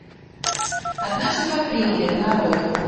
однажды в апреле нарой